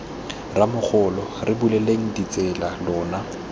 rramogola re buleleng ditsela lona